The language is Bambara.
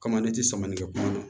Kama ne ti samalikɛ kuma na